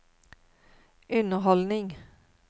underholdning